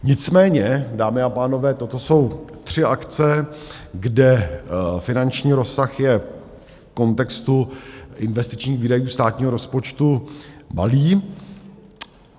Nicméně, dámy a pánové, toto jsou tři akce, kde finanční rozsah je v kontextu investičních výdajů státního rozpočtu malý.